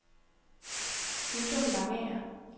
Uldum Langager